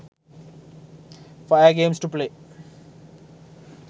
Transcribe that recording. fire games to play